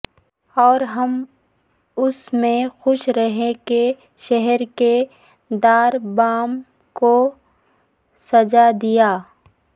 اورہم اسی میں خوش رہیں کہ شہرکے در بام کوسجا دیا